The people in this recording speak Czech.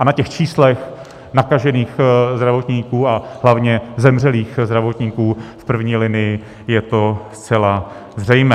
A na těch číslech nakažených zdravotníků a hlavně zemřelých zdravotníků v první linii je to zcela zřejmé.